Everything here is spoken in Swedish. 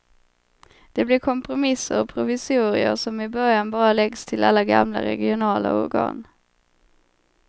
Det blir kompromisser och provisorier som i början bara läggs till alla gamla regionala organ.